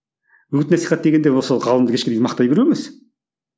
үгіт насихат дегенде ол сол ғалымды кешке дейін мақтай беру емес